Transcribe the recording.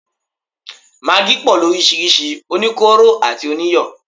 Magí pọ̀ lóríṣirísi, oníkóró àti oníyọ̀